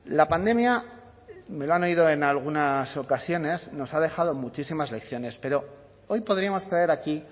la pandemia me lo han oído en algunas ocasiones nos ha dejado muchísimas lecciones pero hoy podríamos traer aquí